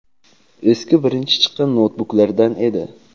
eski birinchi chiqqan noutbuklardan edi.